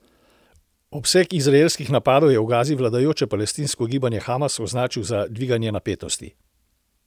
Obseg izraelskih napadov je v Gazi vladajoče palestinsko gibanje Hamas označil za dviganje napetosti.